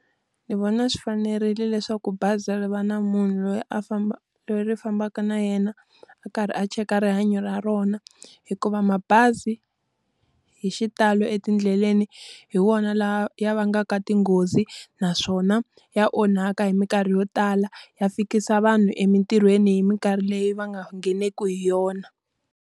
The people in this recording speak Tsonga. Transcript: Ni vona swi fanerile leswaku bazi ri va na munhu loyi a loyi ri fambaka na yena, a karhi a cheka rihanyo ra rona. Hikuva mabazi, hi xitalo etindleleni hi wona lawa ya vangaka tinghozi naswona ya onhaka hi minkarhi yo tala. Ya fikisa vanhu emintirhweni hi minkarhi leyi va nga ngheneki hi yona.